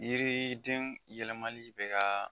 Yiriiidenw yɛlɛmali bɛ kaa.